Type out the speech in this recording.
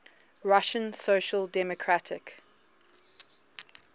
russian social democratic